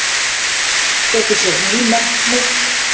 Setur sér ný markmið